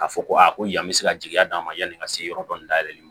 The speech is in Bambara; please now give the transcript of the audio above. Ka fɔ ko aa ko yan me se ka jigiya d'a ma yanni n ka se yɔrɔ dɔ dayɛlɛ